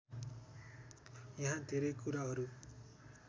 यहाँ धेरै कुराहरू